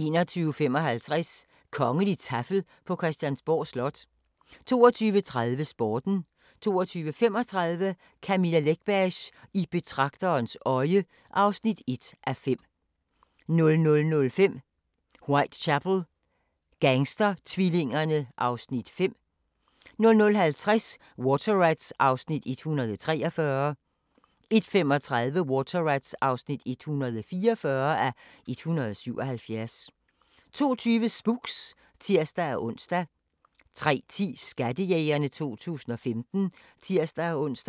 21:55: Kongeligt taffel på Christiansborg Slot 22:30: Sporten 22:35: Camilla Läckbergs I betragterens øje (1:5) 00:05: Whitechapel: Gangstertvillingerne (Afs. 5) 00:50: Water Rats (143:177) 01:35: Water Rats (144:177) 02:20: Spooks (tir-ons) 03:10: Skattejægerne 2015 (tir-ons)